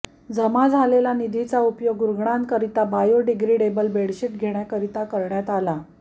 जमा झालेल्या निधीचा उपयोग रुग्णांकरिता बायोडिग्रेडेबल बेडशीट घेण्यासाठी करण्यात आला